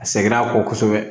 A sɛgɛnna a kɔ kosɛbɛ